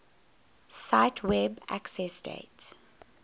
cite web accessdate